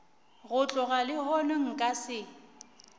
go tloga lehono nka se